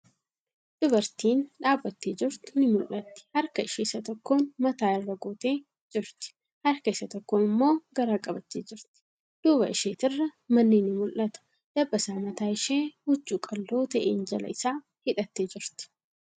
Dubartiin dhaabbattee jirtu ni mul'atti. Harka ishee isa tokkoon mataa irra gootee jirti. Harka isa tokkoon immoo garaa qabattee jirti. Duuba isheetirraa manni ni mul'ata. Dabbasaa mataa ishee huccuu qal'oo ta'een jala isaa hidhattee jirti.